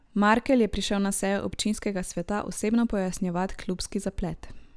Markelj je prišel na sejo občinskega sveta osebno pojasnjevat klubski zaplet.